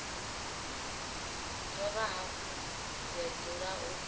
dovha hafhu ya dzula u